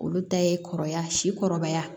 Olu ta ye kɔrɔbaya sikɔrɔbaya